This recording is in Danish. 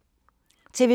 TV 2